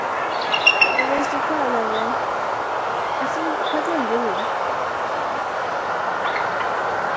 En veistu hvað, Laufey- ertu nokkuð kölluð Lulla?